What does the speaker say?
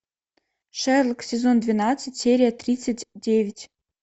шерлок сезон двенадцать серия тридцать девять